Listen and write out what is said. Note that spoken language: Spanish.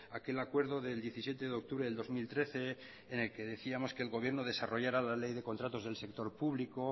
aquel acuerdo del diecisiete de octubre del dos mil trece en el que decíamos que el gobierno desarrollara la ley de contratos del sector público